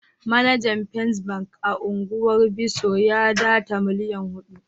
Manajer first bank a'ungwar Bisso ya data millian hudu.